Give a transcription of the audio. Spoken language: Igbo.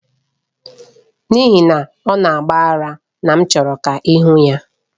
N'ihi na ọ na-agba ara na m chọrọ ka ị hụ ya.